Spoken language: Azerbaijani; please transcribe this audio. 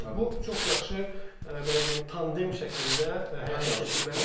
Bu çox yaxşı belə deyim, tandem şəklində həyata keçirilməli bir işdir.